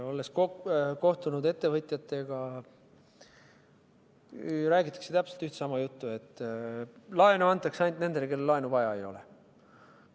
Olles kohtunud ettevõtjatega, räägitakse täpselt sama juttu, et laenu antakse ainult nendele, kellel laenu vaja ei ole.